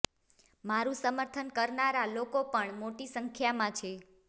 મારું સમર્થન કરનારા લોકો પણ મોટી સંખ્યામાં છે